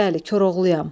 Bəli, Koroğluyam.